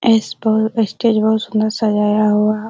इस पल स्टेज बहुत सुन्दर सजाया हुआ है।